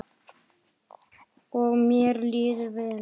Og mér líður vel.